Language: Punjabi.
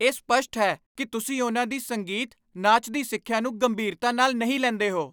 ਇਹ ਸਪੱਸ਼ਟ ਹੈ ਕਿ ਤੁਸੀਂ ਉਨ੍ਹਾਂ ਦੀ ਸੰਗੀਤ, ਨਾਚ ਦੀ ਸਿੱਖਿਆ ਨੂੰ ਗੰਭੀਰਤਾ ਨਾਲ ਨਹੀਂ ਲੈਂਦੇ ਹੋ।